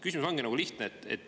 Küsimus on lihtne.